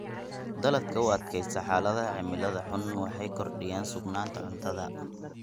Dalagga u adkaysta xaaladaha cimilada xun waxay kordhiyaan sugnaanta cuntada.